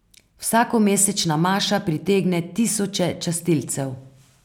Vsakomesečna maša pritegne tisoče častilcev.